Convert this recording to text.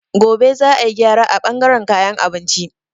Gobe za a yi gyara a bangaren kayan abinci.